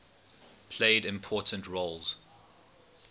played important roles